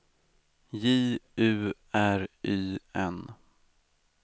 J U R Y N